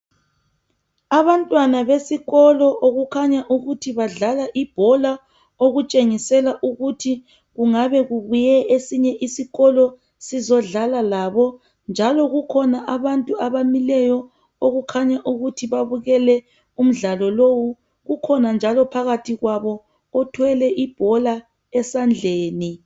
Abantwana besikolo okukhanya ukuthi badlala ibhola okutshengisela ukuthi kungabe kubuye esinye isikolo sizodlala labo. Njalo kukhona abantu abamileyo okukhanya ukuthi babukele umdlalo lowu ukhona njalo phakathi kwabo othwele ibhola esandleni.